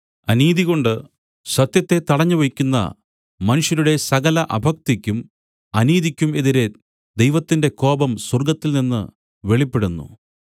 അനീതികൊണ്ട് സത്യത്തെ തടഞ്ഞുവെയ്ക്കുന്ന മനുഷ്യരുടെ സകല അഭക്തിക്കും അനീതിക്കും എതിരെ ദൈവത്തിന്റെ കോപം സ്വർഗ്ഗത്തിൽനിന്നു വെളിപ്പെടുന്നു